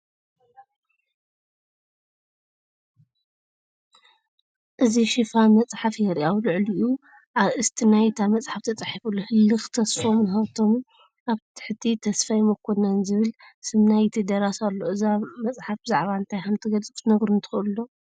እዚ ሽፋን መጽሓፍ የርኢ። ኣብ ልዕሊኡ ኣርእስቲ ናይታ መጽሓፍ ተጻሒፉ ኣሎ፡ “ህልክ ተስፎምን ሃብቶምን” ኣብ ታሕቲ “ተስፋይ መኮነን” ዝብል ስም ናይቲ ደራሲ ኣሎ። እዛ መጽሓፍ ብዛዕባ እንታይ ከም እትገልጽ ክትነግሩኒ ትክእሉ ዶ ?